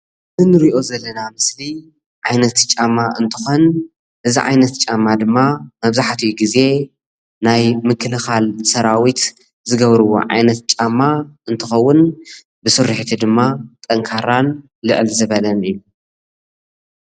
እዚ እንሪኦ ዘለና ምስሊ ዓይነት ጫማ እንትኮን እዚ ዓይነት ጫማ ድማ መብዛሕትኡ ግዜ ናይ ምክልካል ሰራዊት ዝገብርዎ ዓይነት ጫማ እንትከውን ብስሪሒቱ ድማ ጠንካራን ልዕል ዝበለን እዩ ::